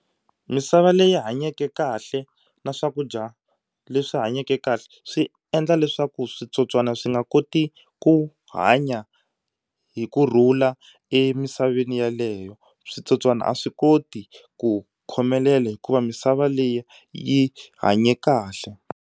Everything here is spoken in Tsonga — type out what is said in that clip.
Misava leyi hanyeke kahle na swakudya leswi hanyeke kahle swi endla leswaku switsotswana swi nga koti ku hanya hi kurhula emisaveni yaleyo. Dwitsotswana a swi koti ku khomelela hikuva misava leyi yi hanye kahle.